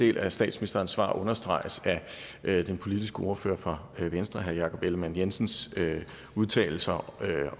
del af statsministerens svar understreges af den politiske ordfører fra venstre herre jakob ellemann jensens udtalelser